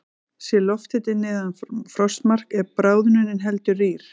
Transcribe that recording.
Sé lofthiti neðan frostmarks er bráðnunin heldur rýr.